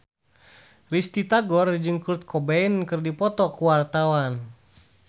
Risty Tagor jeung Kurt Cobain keur dipoto ku wartawan